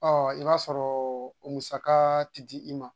Ɔ i b'a sɔrɔ o musaka tɛ di i ma